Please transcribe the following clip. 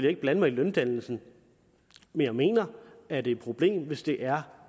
ikke blande mig i løndannelsen men jeg mener at det er et problem hvis det er